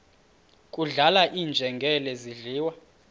kudlala iinjengele zidliwa